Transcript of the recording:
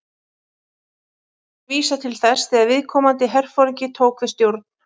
Dagsetningarnar vísa til þess þegar viðkomandi herforingi tók við stjórn.